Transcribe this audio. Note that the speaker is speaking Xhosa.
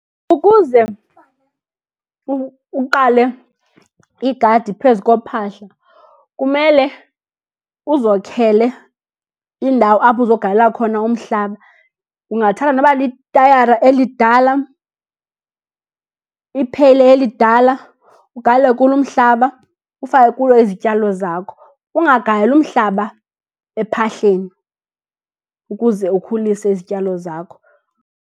Ukuze uqale igadi phezu kophahla kumele uzokhele indawo apho uzogalela khona umhlaba. Ungathatha noba litayara elidala, ipheyile elidala ugalele kulo umhlaba, ufake kulo izityalo zakho. Ungagaleli umhlaba ephahleni ukuze ukhulise izityalo zakho.